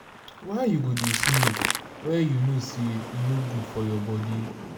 why you go dey smoke wen you know say e no good for your body